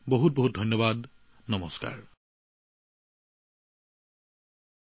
সকলোকে বহুত বহুত ধন্যবাদ আৰু শুভেচ্ছা জনালোঁ